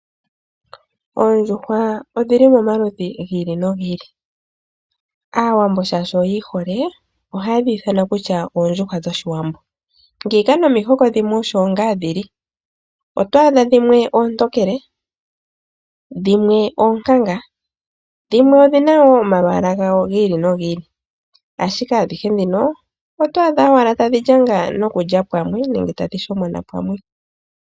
Oondjuhwa odhili momaludhi gi ili nodhi ili. Aawambo shaashi oyiihole ohayedhi ithana kutya oondjuhwa dhoshiwambo ngiika nomihoko dhimwe osho ngaa dhili. Oto adha dhimwe oontokele, dhimwe oonkanga, dhimwe odhina wo omalwaala gadho gi ili nogi ili ashike adhihe ndhino oto adha owala tadhi lyanga nokulya pamwe nenge tadhi shomona pamwe.